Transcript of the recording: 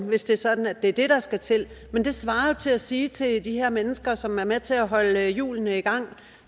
hvis det sådan at det er det der skal til men det svarer jo til at sige til de her mennesker som er med til at holde hjulene i gang